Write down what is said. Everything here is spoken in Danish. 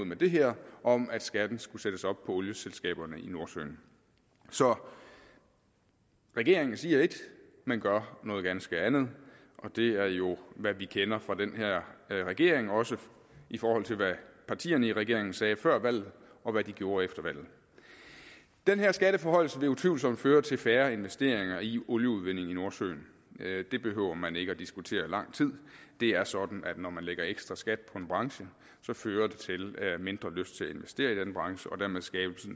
med det her om at skatten skulle sættes op for olieselskaberne i nordsøen så regeringen siger ét men gør noget ganske andet og det er jo hvad vi kender fra den her regering også i forhold til hvad partierne i regeringen sagde før valget og hvad de gjorde efter valget den her skatteforhøjelse vil utvivlsomt føre til færre investeringer i olieudvinding i nordsøen det behøver man ikke at diskutere lang tid det er sådan at når man lægger ekstra skat på en branche fører det til mindre lyst til at investere i den branche og dermed skabelse af